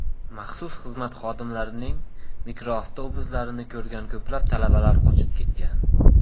Maxsus xizmat xodimlarining mikroavtobuslarini ko‘rgan ko‘plab talabalar qochib ketgan.